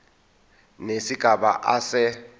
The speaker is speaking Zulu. nesigaba a se